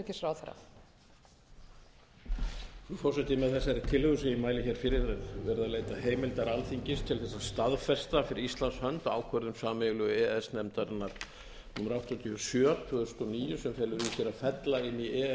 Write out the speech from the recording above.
til þess að staðfesta fyrir íslands hönd ákvörðun sameiginlegu e e s nefndarinnar númer áttatíu og sjö tvö þúsund og níu sem felur í sér að fella inn í e e